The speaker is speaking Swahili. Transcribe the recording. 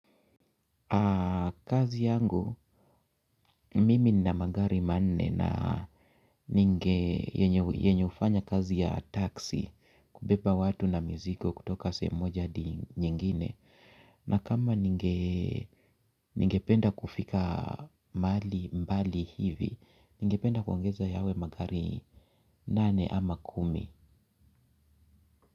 Kazi yangu mimi nina magari manne na ninge yenye ufanya kazi ya taxi kubeba watu na mizigo kutoka sehemu moja hadi nyingine. Na kama ningependa kufika mbali hivi, ningependa kuongeza yawe magari nane ama kumi.